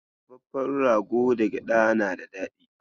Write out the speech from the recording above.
Dafaffen rogo da gyaɗa na da daɗi.